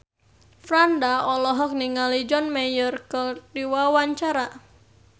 Franda olohok ningali John Mayer keur diwawancara